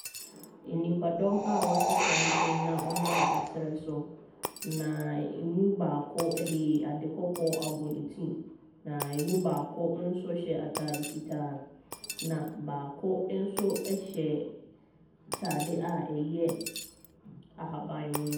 Nnipadɔm a wɔato santene na wɔnam serɛ so, na ɛmu baako de ade kɔkɔɔ abɔ ne ti, na ɛmu baako nso hyɛ atade fitaa, na baako nso hyɛ atade a ɛyɛ ahaban mono.